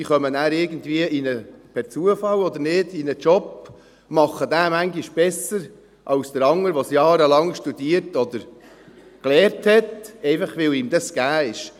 Die kommen nachher irgendwie per Zufall oder nicht in einen Job, machen diesen manchmal besser als der andere, der es jahrelang studiert oder gelernt hat, einfach, weil es ihm gegeben ist.